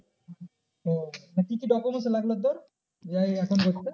ও আর কি কি document লাগলো তোর যে এই account করতে?